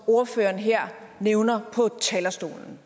ordføreren her nævner på talerstolen